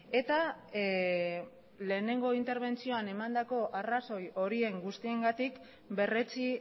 eta lehenengo interbentzioan emandako arrazoi horien guztiengatik berretsi